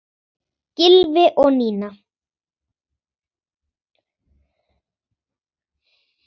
Gylfi og Nína.